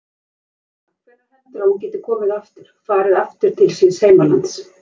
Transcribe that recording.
Helga: Hvenær heldurðu að hún geti komið aftur, farið aftur til síns heimalands?